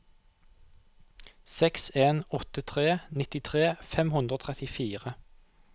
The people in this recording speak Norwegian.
seks en åtte tre nittitre fem hundre og trettifire